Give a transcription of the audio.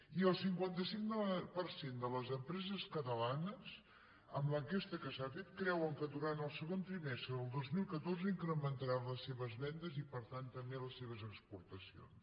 i el cinquanta cinc per cent de les empreses catalanes amb l’enquesta que s’ha fet creuen que durant el segon trimestre del dos mil catorze incrementaran les seves vendes i per tant també les seves exportacions